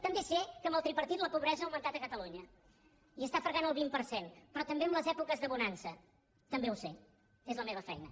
també sé que amb el tripartit la pobresa ha augmentat a catalunya i està fregant el vint per cent però també en les èpoques de bonança també ho sé és la meva feina